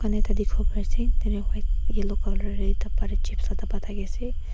tatae white yellow colour rae tae dapa tae chips la dapa thakiase.